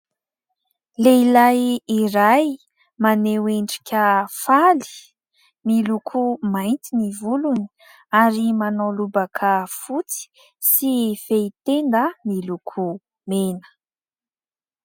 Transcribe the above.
Lehilahy iray maneho endrika faly. Miloko mainty ny volony, ary manao lobaka fotsy sy fehitenda miloko mena.